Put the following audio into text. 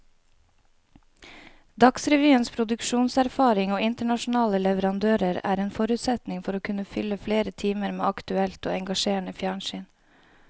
Dagsrevyens produksjonserfaring og internasjonale leverandører er en forutsetning for å kunne fylle flere timer med aktuelt og engasjerende fjernsyn.